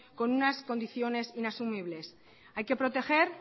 con unas condiciones inasumibles hay que proteger